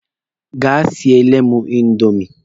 Gaa siele mụ indomi!